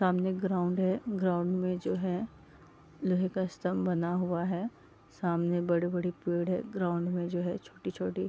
सामने ग्राउंड है ग्राउंड में जो है लोहे का स्तम्भ बना हुआ है सामने बड़े-बड़े पेड़ है ग्राउंड में जो है छोटी-छोटी --